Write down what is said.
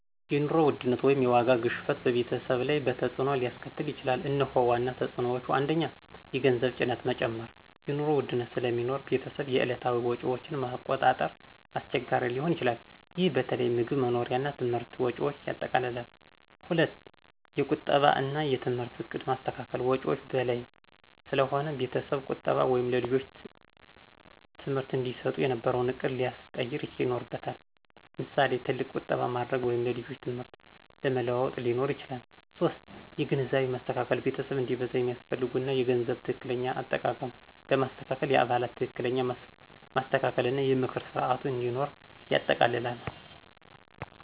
የኑሮ ውድነት (የዋጋ ግሽበት) በቤተሰብ ላይ በተፅዕኖ ሊያስከትል ይችላል፤ እነሆ ዋና ተፅዕኖዎቹ፦ 1. የገንዘብ ጭነት መጨመር – የኑሮ ውድነት ስለሚኖር ቤተሰብ የዕለታዊ ወጪዎችን ማቆጣጠር አስቸጋሪ ሊሆን ይችላል። ይህ በተለይ ምግብ፣ መኖሪያ እና ትምህርት ወጪዎችን ያጠቃልላል። 2. የቁጠባ እና የትምህርት ዕቅድ ማስተካከል – ወጪዎች በላይ ስለሆነ ቤተሰብ ቁጠባ ወይም ልጆች ትምህርት እንዲሰጡ የነበረውን ዕቅድ ሊያስቀየር ይኖርበታል። ምሳሌ፣ ትልቅ ቁጠባ ማድረግ ወይም የልጆች ትምህርት ለመለዋወጥ ሊኖር ይችላል። 3. የግንዛቤ ማስተካከል – ቤተሰብ እንዲበዛ የሚያስፈልጉ እና የገንዘብ ትክክለኛ አጠቃቀም ለማስተካከል የአባላት ትክክለኛ ማስተካከል እና የምክር ስርዓት እንዲኖር ይጠይቃል።